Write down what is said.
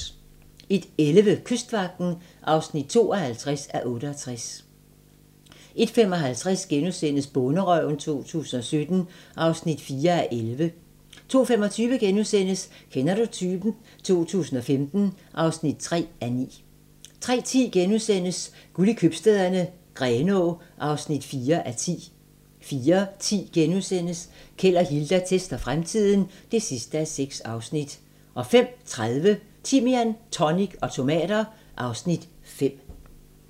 01:11: Kystvagten (52:68) 01:55: Bonderøven 2017 (4:11)* 02:25: Kender du typen? 2015 (3:9)* 03:10: Guld i Købstæderne - Grenaa (4:10)* 04:10: Keld og Hilda tester fremtiden (6:6)* 05:30: Timian, tonic og tomater (Afs. 5)